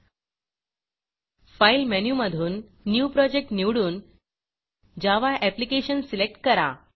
Fileफाइल menu मधून new Projectन्यू project निवडून जावा Applicationजावा अप्लिकेशन सिलेक्ट करा